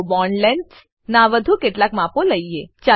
ચાલો bond lengths નાં વધુ કેટલાક માપો લઈએ